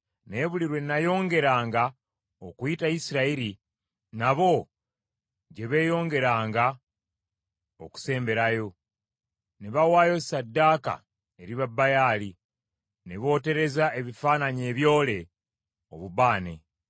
Naye buli lwe nayongeranga okuyita Isirayiri, nabo gye beeyongeranga okusemberayo ne bawaayo ssaddaaka eri Babaali, ne bootereza ebifaananyi ebyole obubaane.